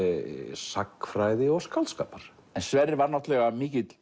sagnfræði og skáldskapar en Sverrir var náttúrulega mikill